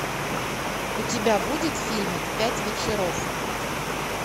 у тебя будет фильмик пять вечеров